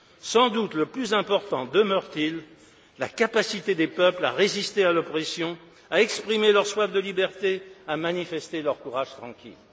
Sans doute le plus important demeure t il la capacité des peuples à résister à l'oppression, à exprimer leur soif de liberté, à manifester leur courage tranquille.